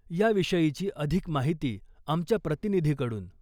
या विषयीची अधिक माहिती आमच्या प्रतिनिधी कडून .